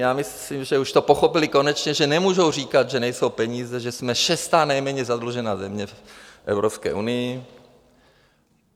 Já myslím, že už to pochopili konečně, že nemůžou říkat, že nejsou peníze, že jsme šestá nejméně zadlužená země v Evropské unii.